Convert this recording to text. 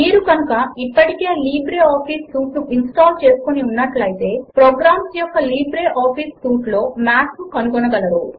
మీరు కనుక ఇప్పటికే లిబ్రేఆఫీస్ సూట్ ను ఇన్స్టాల్ చేసుకుని ఉన్నట్లు అయితే ప్రోగ్రామ్స్ యొక్క లిబ్రే ఆఫీస్ సూట్ లో మాథ్ ను కనుగొనగలరు